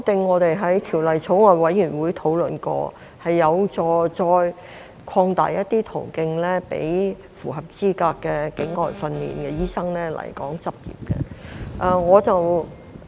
我們在法案委員會曾討論過有關修正案，這是有助於再擴大一些途徑予符合資格的境外訓練醫生來港執業。